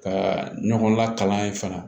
Ka ɲɔgɔn lakalan yen fana